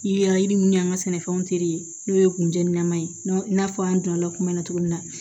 Yeli mun y'an ka sɛnɛfɛnw teri ye n'o ye kunjana ye i n'a fɔ an donna kuma na cogo min na